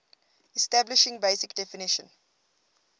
establishing basic definition